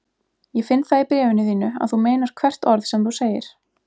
Ég finn það í bréfinu þínu að þú meinar hvert orð sem þú segir.